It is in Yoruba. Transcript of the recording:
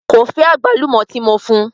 Ko fẹ agbálùmó ti mo fún.